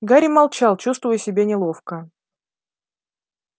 гарри молчал чувствуя себя неловко